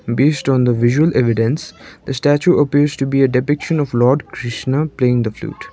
based on the visual evidence the statue appears to be a depiction of lord krishna playing the flute.